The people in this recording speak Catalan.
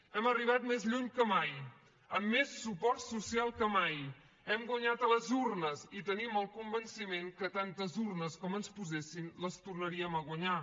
hem arribat més lluny que mai amb més suport social que mai hem guanyat a les urnes i tenim el convenciment que tantes urnes com ens posessin les tornaríem a guanyar